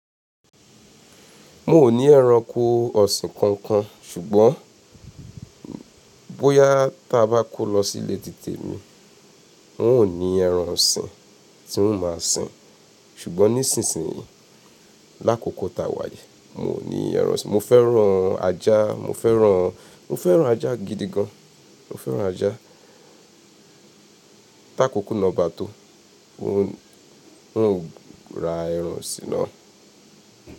Mo ò ní ẹranko ọ̀sìn kankan ṣùgbọ́n bóyá ta bá kó lọ sílé títè mi, wọn ò ní ẹran ọ̀sìn tí wọ́n máa sìn. Ṣùgbọ́n nísinsìn yí lákòókò ta wà yẹn, mo ò ní ẹran ọ̀sìn. Mo fẹ́ran ajá, mo fẹ́ran, mo fẹ́ran ajá gidi gan. Mo fẹ́ran ajá. Tákòkò náà bá tó, wọn ó ra ẹran sí naa.